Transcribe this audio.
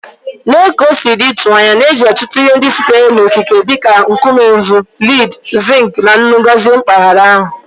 Lee ka o si dị ịtụnanya na e ji ọtụtụ ihe ndị sitere n'okike dị ka nkume nzu, lead, zinc, na nnu gọzie mpaghara ahụ.